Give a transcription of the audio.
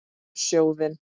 Um sjóðinn